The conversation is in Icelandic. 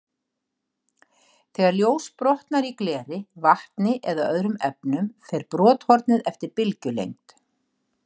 Þegar ljós brotnar í gleri, vatni eða öðrum efnum, fer brothornið eftir bylgjulengd.